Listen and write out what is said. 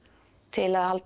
til að halda